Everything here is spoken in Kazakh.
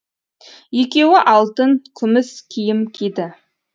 екеуі алтын күміс киім киді